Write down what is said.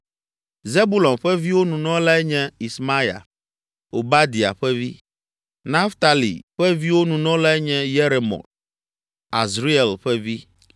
Zebulon ƒe viwo Nunɔlae nye Ismaya, Obadia ƒe vi; Naftali ƒe viwo Nunɔlae nye Yeremot, Azriel ƒe vi;